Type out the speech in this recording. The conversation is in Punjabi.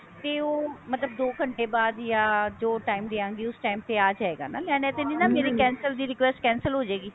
ਤੇ ਉਹ ਮਤਲਬ ਦੋ ਘੰਟੇ ਬਾਅਦ ਜਾ ਜੋ time ਦਿਆਂਗੀ ਉਸ time ਤੇ ਆ ਜਾਏਗਾ ਨਾ mam ਐਵੇਂ ਤਾਂ ਨਹੀਂ ਨਾ ਮੇਰੇ cancel ਦੀ request cancel ਹੋ ਜਾਏਗੀ